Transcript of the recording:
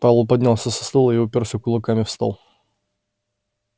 пауэлл поднялся со стула и упёрся кулаками в стол